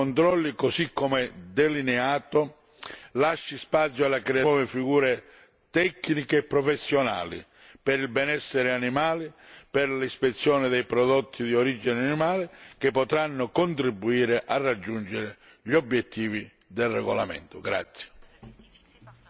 Spero che il sistema dei controlli, così come delineato, lasci spazio alla creazione di nuove figure tecniche e professionali per il benessere animale e per l'ispezione dei prodotti di origine animale, che potranno contribuire al conseguimento degli obiettivi del regolamento.